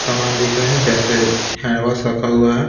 सामान दिख रहा है जैसे हैंड वॉश रखा हुआ है।